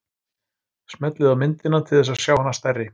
Smellið á myndina til þess að sjá hana stærri.